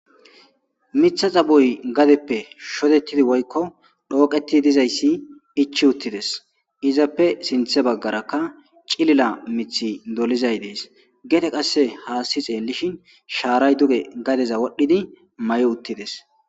mitha xabuy gadeppe shotettidi woykko dhooqeti dizayssi ichi uttides izappe sinthe baggarakka cilila mithi dolizay dees geete qasse haasti xeellishin shaaray duge gadeza wodhdhidi may7i uttides